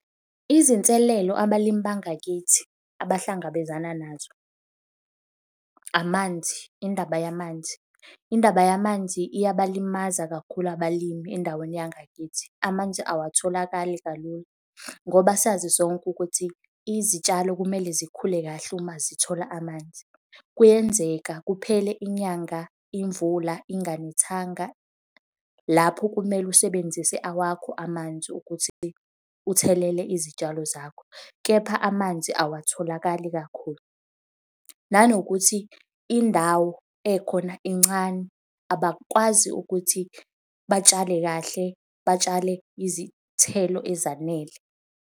Izinselelo abalimi bangakithi abahlangabezana nazo, amanzi, indaba yamanzi. Indaba yamanzi iyabalimaza kakhulu abalimi endaweni yangakithi. Amanzi awatholakali kalulu, ngoba sazi sonke ukuthi izitshalo kumele zikhule kahle uma zithola amanzi. Kuyenzeka kuphele inyanga imvula inganethanga lapho kumele usebenzise awakho amanzi ukuthi uthelele izitshalo zakho kepha amanzi awatholakali kakhulu. Nanokuthi indawo ekhona incane abakwazi ukuthi batshale kahle, batshale izithelo ezanele.